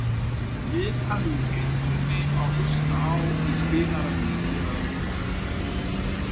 Viðtalið í heild sinni má hlusta á í spilaranum hér að ofan